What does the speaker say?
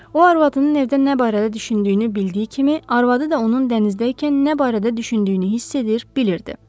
O arvadının evdə nə barədə düşündüyünü bildiyi kimi, arvadı da onun dənizdəykən nə barədə düşündüyünü hiss edir, bilirdi.